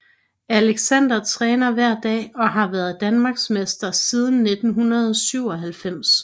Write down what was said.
Alexander træner hver dag og har været Danmarksmester siden 1997